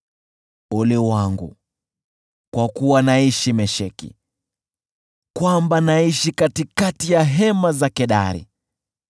Ole wangu kwa kuwa naishi Mesheki, kwamba naishi katikati ya hema za Kedari!